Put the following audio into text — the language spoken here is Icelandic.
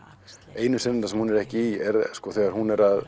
einu senurnar sem hún er ekki í eru þegar hún er að